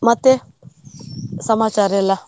ಮತ್ತೆ, ಸಮಾಚಾರ ಎಲ್ಲಾ?